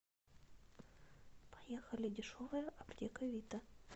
поехали дешевая аптека вита